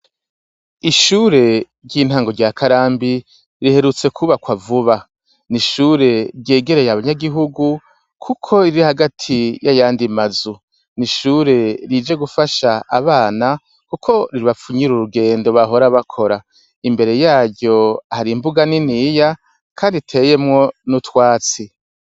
Ishure ry'intango rya karambi riherutse kwubakwa vuba ni ishure ryegereye abanyagihugu, kuko riri hagati y'ayandi mazu ni ishure rije gufasha abana, kuko ribapfunyira urugendo bahora bakora imbere yayo hari imbuga niniya, kandi iteyemwo n'utwatsi.